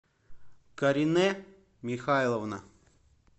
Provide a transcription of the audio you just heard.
каринэ михайловна